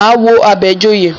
Máa wo Àbẹ̀joyè.